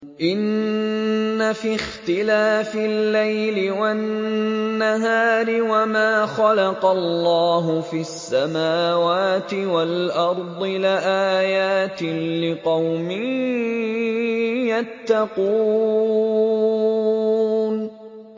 إِنَّ فِي اخْتِلَافِ اللَّيْلِ وَالنَّهَارِ وَمَا خَلَقَ اللَّهُ فِي السَّمَاوَاتِ وَالْأَرْضِ لَآيَاتٍ لِّقَوْمٍ يَتَّقُونَ